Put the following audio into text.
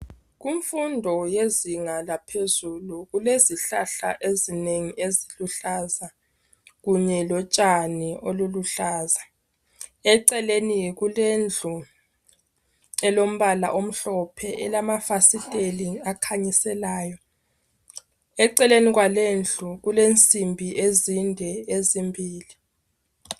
Kumfundo yezinga laphezulu kulezihlahla ezinengi eziluhlaza. Kunye lo tshani oluluhlaza. Eceleni kulendlu elombala omhlophe. Elamafasiteli akhanyiselayo. Eceleni kwalendlu kule nsimbi ezinde ezimbili.